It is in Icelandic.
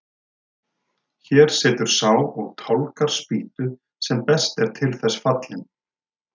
Hér situr sá og tálgar spýtu sem best er til þess fallinn.